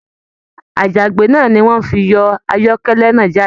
Àjàgbé náà ní wọn fí yọ ayọkẹlẹ náà jáde.